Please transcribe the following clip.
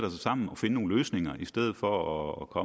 sammen og finde nogle løsninger i stedet for at gå